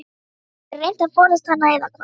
Hefurðu reynt að forðast hana eða hvað?